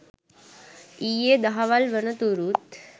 ඊයේ දහවල් වනතුරුත්